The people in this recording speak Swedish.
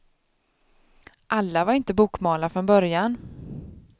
Alla var inte bokmalar från början.